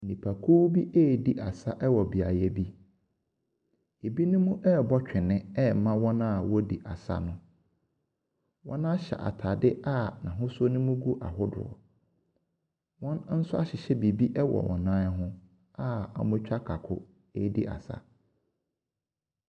Nnipakuw bi redi asa wɔ beaeɛ bi. Ebinom rebɔ twene ɛma wɔn a wɔredi asa no. Wɔhyɛ ataade a n'ahosuo no mu gu ahodoɔ. Wɔahyehye nso ahyehyɛ wɔ wɔn ho a wɔatwa kanko redi asa.